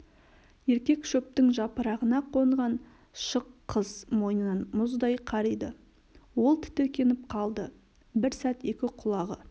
еркек шөптің жапырағына қонған шық қыз мойынын мұздай қариды ол тітіркеніп қалды бір сәт екі құлағы